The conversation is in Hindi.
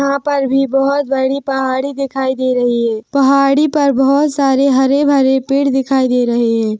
यहाँ पर भी बहुत बड़ी पहाड़ी दिखाई दे रही है पहाड़ी पर बहुत सारे हरे भरे पेड़ दिखाई दे रहे हैं।